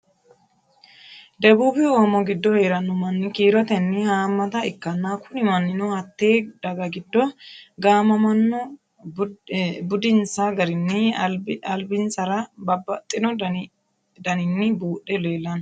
debuubi oomo giddo heeranno manni kiirotenni haammata ikkanna, kuni mannino hattee daga giddo gaamamanno. budinsa garinni albinsara babbaxino daninni buudhe leelanno.